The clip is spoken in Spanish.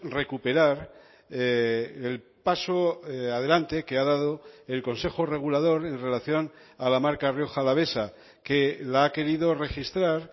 recuperar el paso adelante que ha dado el consejo regulador en relación a la marca rioja alavesa que la ha querido registrar